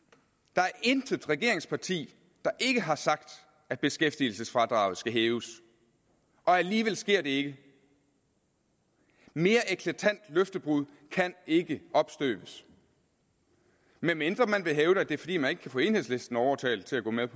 der er intet regeringsparti der ikke har sagt at beskæftigelsesfradraget skal hæves og alligevel sker det ikke mere eklatant løftebrud kan ikke opstøves medmindre man vil hævde at det er fordi man ikke kan få enhedslisten overtalt til at gå med